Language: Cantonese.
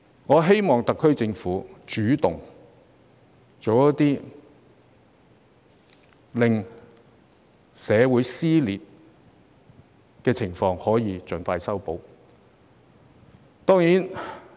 我希望特區政府主動做些事情，盡快修補社會撕裂。